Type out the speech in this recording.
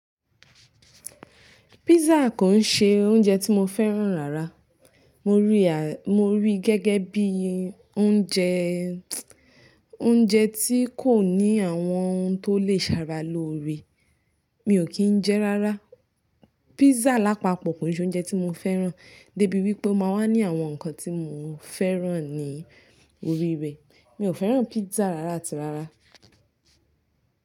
Pizza kò ń ṣe oúnjẹ tí mo fẹ́ràn rárá. Mo rí i, mo rí i gẹ́gẹ́ bí i oúnjẹ, oúnjẹ tí kò ní àwọn ohun tó lè sára lóore. Mi ò kí ń jẹ ẹ́ rárá. Pizza lápapọ̀ kò n ṣe oúnjẹ tí mo fẹ́ràn, dé bí wípé ó máa wá ní àwọn ǹkan tí mo fẹ́ràn ní orí rẹ̀. Mi ò fẹ́ràn pizza rárá àti rárá.